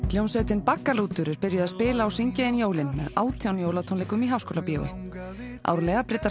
hljómsveitin baggalútur er byrjuð að spila og syngja inn jólin með átján jólatónleikum í Háskólabíói árlega bryddar